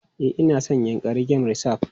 E, na san Yankari Game Reserve.